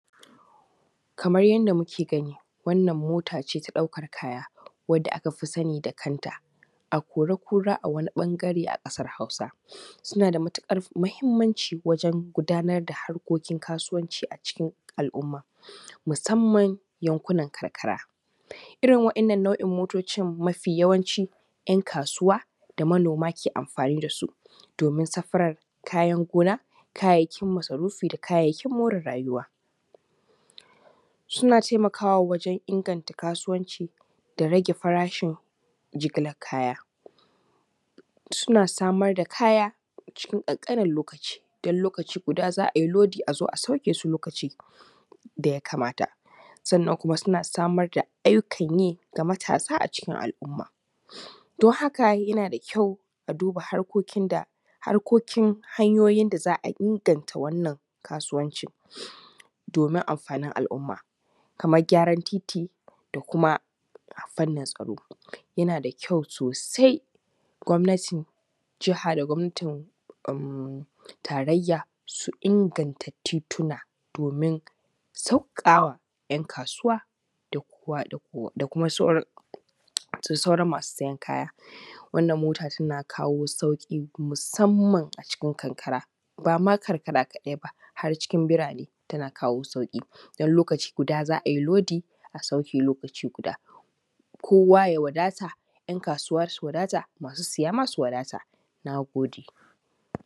Kamar yadda muke gani wannan motace na ɗaukan kaya wanda aka fi sani da kanta akori kura a wani ɓangare a kasar hausa, suna da matukar muhimmanci wajen gudanar da harkokin kasuwanci a cikin al’umma musamman yankunan karkara, irin wannan nau’in motocin mafi yawanci ‘yan kasuwa da manoma ke amfani da su domin safarar kayan gona, kayayyakin masarufi da kayayyakin more rayuwa, suna taimakawa wajen inganta kasuwanci da rage farashin jigilar kaya, suna samar da kaya cikin kankanin lokaci don lokaci guda za ayi lodi azo a sauke su lokaci da ya kamata sannan kuma suna samar da ayyukan yi ga matasa a cikin al’umma don haka yana da kyau a duba harkokin hanyoyin da za a inganta wannan kasuwanci domin amfanin al’umma kamar gyaran titi da kuma fannin tsaro yana da kyau sosai gwamnatin jaha da gwamnatin tararya su inganta tituna domin saukakawa ‘yan kasuwa da kuma sauran masu siyan kaya, wannan mota tana kawo sauki musamman a cikin karkara bama karkara kadai ba har cikin burane tana kawo sauki don lokaci guda za ayi lodi a sauke lokaci guda kowa ya wadata ‘yan kasuwa su wadata masu siya ma su wadata, na goɗe.